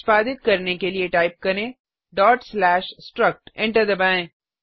निष्पादित करने के लिए टाइप करें struct एंटर दबाएँ